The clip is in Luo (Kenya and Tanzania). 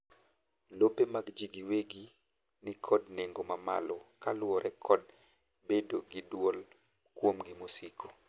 lope mag jii giwegi nikod nengo mamalo kaluwore kod bedo gi duol kuomi mosiko